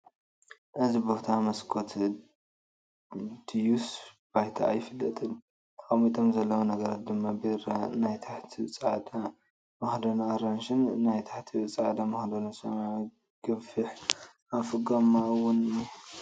እዚ ቦታ መስኮት ድዩስ ባይታ ኣይፍለጥን ተቐሚጦም ዘለዉ ነገራት ድማ ቢራ፣ ናይ ታሕቱ ፃዕዳ መኽደኑ ኣራንሺ ን ናይ ታሕቱ ፃዕዳ መኽደኑ ሰማያዊ ገፊሕ ኣፉ ጎማ'ውን እንሄ ።